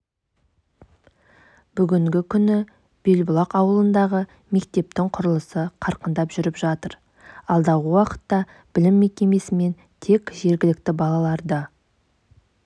бүгінгі күні белбұлақ ауылындағы мектептің құрылысы қарқынды жүріп жатыр алдағы уақытта білім мекемесімен тек жергілікті балаларды